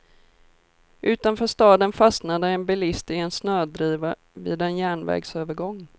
Utanför staden fastnade en bilist i en snödriva vid en järnvägsövergång.